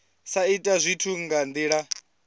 sa ita zwithu nga ndila